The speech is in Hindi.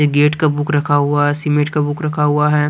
गेट का बुक रखा हुआ है सीमेंट का बुक रखा हुआ है।